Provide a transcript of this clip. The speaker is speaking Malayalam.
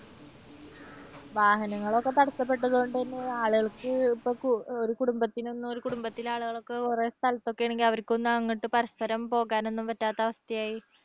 വാഹനങ്ങളൊക്കെ തടസ്സപ്പെട്ട അതുകൊണ്ടുതന്നെ ആളുകൾക്ക് ഇപ്പോൾ ഒരു കുടുംബത്തിന് ഒന്നും ഒരു കുടുംബത്തിലെ ആളുകൾക്ക് ഒരേ സ്ഥലത്ത് ഒക്കെ ആണെങ്കിൽ അവർക്കൊന്നും അങ്ങോട്ട് പരസ്പരം പോകാൻ ഒന്നും പറ്റാത്ത അവസ്ഥയായി.